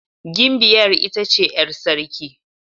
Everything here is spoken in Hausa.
Gimbiyar ita ce 'yar sarki.